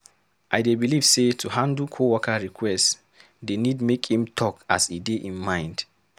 I dey believe say to handle co-worker request dey need make im talk as e dey im mind.